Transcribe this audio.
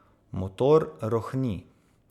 Motor rohni.